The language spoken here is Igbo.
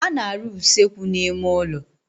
A na-arụ usekwu n'ime ụlọ.